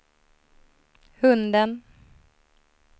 hunden